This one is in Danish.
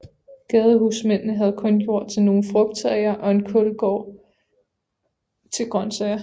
Gadehusmændene havde kun jord til nogle frugttræer og en kålgård til grøntsager